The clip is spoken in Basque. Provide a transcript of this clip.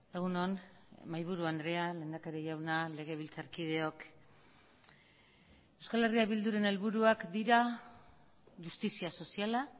egun on mahaiburu andrea lehendakari jauna legebiltzarkideok euskal herria bilduren helburuak dira justizia soziala